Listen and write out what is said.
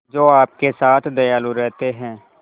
जो आपके साथ दयालु रहते हैं